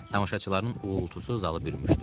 Tamaşaçıların uğultusu zalı bürümüşdü.